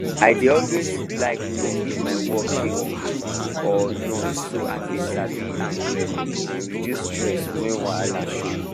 i dey always like know if my work dey okay or not so i fit sabi am well and reduce stress when wahala show